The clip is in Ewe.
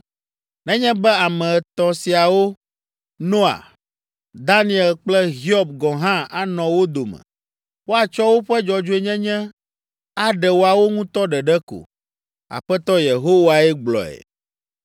nenye be ame etɔ̃ siawo, Noa, Daniel kple Hiob gɔ̃ hã anɔ wo dome. Woatsɔ woƒe dzɔdzɔenyenye aɖe woawo ŋutɔ ɖeɖe ko. Aƒetɔ Yehowae gblɔe.